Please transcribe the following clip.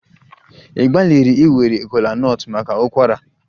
Ị gbalịrị iwere kola nut maka ụkwara?